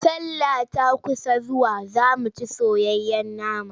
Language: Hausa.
Sallah ta kusa zuwa za mu ci soyayyen nama.